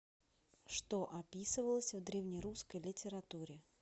что описывалось в древнерусской литературе